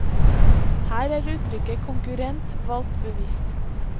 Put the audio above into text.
Her er uttrykket konkurrent valgt bevisst.